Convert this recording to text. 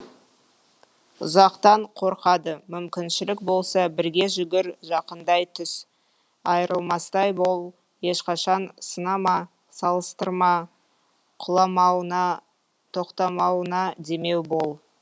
ұзақтан қорқады мүмкіншілік болса бірге жүгір жақындай түс айырылмастай бол ешқашан сынама салыстырма құламауына тоқтамауына демеу бол